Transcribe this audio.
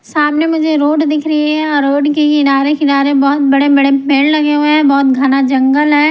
सामने मुझे रोड दिख रही है और रोड के किनारे किनारे बहुत बड़े-बड़े पेड़ लगे हुए हैं बहुत घना जंगल है।